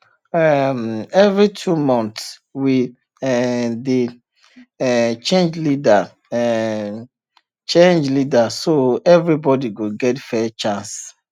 um every two months we um dey um change leader um change leader so everybody go get fair chance